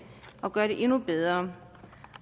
og gøre det endnu bedre